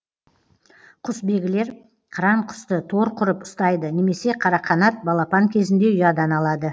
құсбегілер қыран құсты тор құрып ұстайды немесе қарақанат балапан кезінде ұядан алады